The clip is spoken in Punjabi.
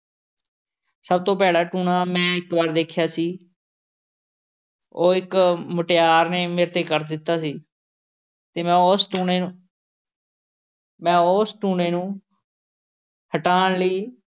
ਸਭ ਤੋਂ ਭੈੜਾ ਟੂਣਾ ਮੈਂ ਇੱਕ ਵਾਰ ਦੇਖਿਆ ਸੀ ਉਹ ਇੱਕ ਮੁਟਿਆਰ ਨੇ ਮੇਰੇ ਤੇ ਕਰ ਦਿੱਤਾ ਸੀ। ਅਤੇ ਮੈਂ ਉਸ ਟੂਣੇ ਮੈਂ ਉਸ ਟੂਣੇ ਨੂੰ ਹਟਾਉਣ ਲਈ